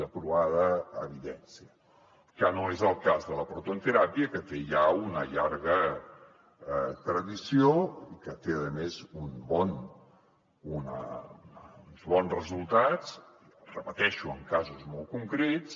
de provada evidència que no és el cas de la prototeràpia que té ja una llarga tradició i que té a més uns bons resultats ho repeteixo en casos molt concrets